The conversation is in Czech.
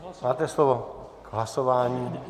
Máte slovo k hlasování.